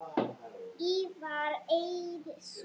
Ívar Eiðsson